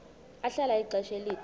ahlala ixesha elide